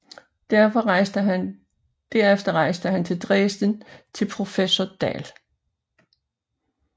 Derefter rejste han til Dresden til professor Dahl